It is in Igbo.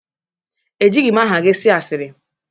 Ejighị m aha gị asịrị.